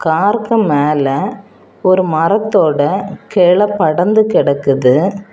காருக்கு மேல ஒரு மரத்தோட கெல படர்ந்து கிடக்குது.